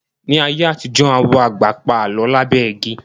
Ní ayé àtijọ́, àwọn àgbà pa Àlọ́ lábẹ́ igi